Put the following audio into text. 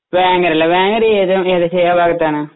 വേങ്ങരയല്ലേ വേങ്ങര ഏത് ഏകദേശം എവിടായിട്ടാണ്